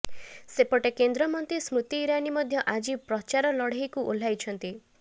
ସେପଟେ କେନ୍ଦ୍ରମନ୍ତ୍ରୀ ସ୍ମୃତି ଇରାନୀ ମଧ୍ୟ ଆଜି ପ୍ରଚାର ଲଢେଇକୁ ଓହ୍ଲାଇଛନ୍ତି